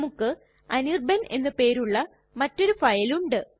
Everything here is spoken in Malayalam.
നമുക്ക് അനിർബാൻ എന്ന് പേരുള്ള മറ്റൊരു ഫയൽ ഉണ്ട്